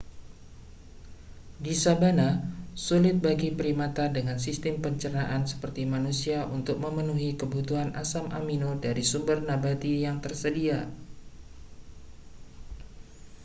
di sabana sulit bagi primata dengan sistem pencernaan seperti manusia untuk memenuhi kebutuhan asam amino dari sumber nabati yang tersedia